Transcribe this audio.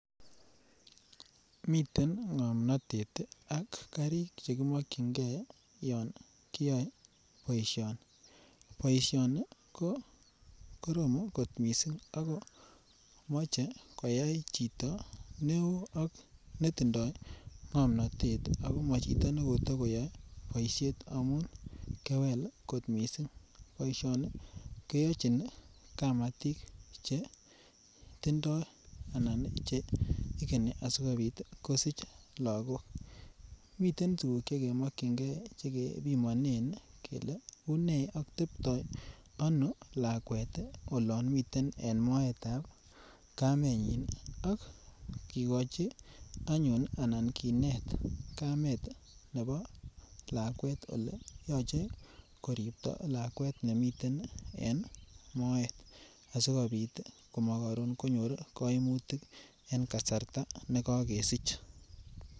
Miten ngomnatet ak karik che kimokyinge yon kiyoe boisioni. Boisioni ko korom kot mising ak komo che keyai chito neo ak netindoi ngomnatet ak komachoto nekotakoyae boisiet amun kewel kot mising. Bousioni kenyochin kamatik che tindoi anan igeni kosich lagok. Miten tuguk che kemokyinge che kepimonen kele une ak tepto ano lakwet olamiten moetab kamenyin ak kigochi anyun anan kinet kamet nebo lakwet ole yoche koripto lakwet nemiten en moet asigopit komokarun konyor kaimutik en kasarta ne kakesich.